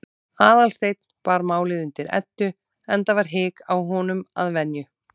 Aðalsteinn bar málið undir Eddu, enda var hik á honum að venju.